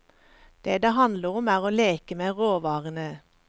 Det det handler om er å leke med råvarene.